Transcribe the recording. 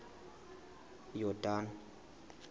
yordane